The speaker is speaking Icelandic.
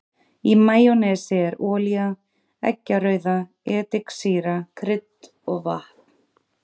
Í majónesi er olía, eggjarauða, ediksýra, krydd og vatn.